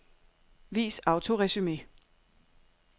Vis autoresumé.